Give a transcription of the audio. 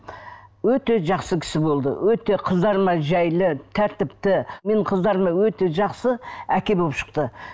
өте жақсы кісі болды өте қыздарыма жайлы тәріпті менің қыздарыма өте жақсы әке болып шықты